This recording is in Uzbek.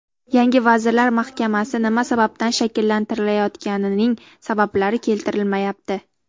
Yangi vazirlar mahkamasi nima sababdan shakllantirilayotganining sabablari keltirilmayapti.